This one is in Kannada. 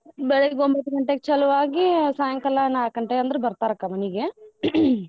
ಬೆಳಗ್ಗೆ ಒಂಬತ್ ಗಂಟೆಗ್ ಚಲುವಾಗಿ ಸಾಯಂಕಾಲ ನಾಕ್ ಗಂಟೆಯಂದ್ರ ಬರ್ತಾರಕ್ಕ ಮನಿಗೆ .